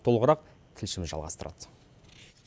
толығырақ тілшіміз жалғастырады